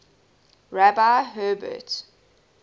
rabbi herbert